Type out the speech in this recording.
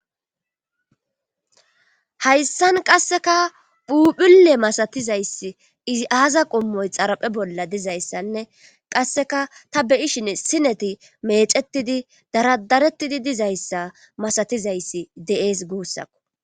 Hayssan qasseka phuphule masatizayss izi aaza qommoy xaraphe bolla dizayssanne qasseka ta beyishin sineti meecettidi daradarettidi dizayssa masatizayssi deees guussakko.